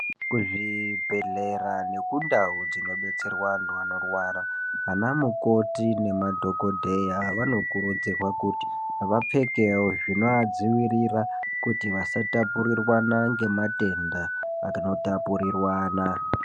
Kuzvibhedhlera nekundau dzinobetserwa antu anorwara anamukoti nemadhogodheya vanokurudzirwa kuti vapfekewo zvinoadziwirira kuti vasatapurirwana ngematenda anotapurirwana.